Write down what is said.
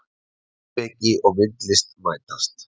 Heimspeki og myndlist mætast